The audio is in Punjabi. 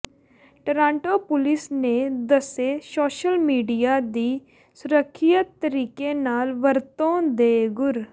ਟਰਾਂਟੋ ਪੁਲਿਸ ਨੇ ਦੱਸੇ ਸੋਸ਼ਲ ਮੀਡੀਆ ਦੀ ਸੁਰੱਖਿਅਤ ਤਰੀਕੇ ਨਾਲ ਵਰਤੋਂ ਦੇ ਗੁਰ